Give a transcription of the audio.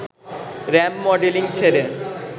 ramp modelling ছেড়ে